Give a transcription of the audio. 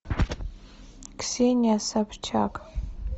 ксения собчак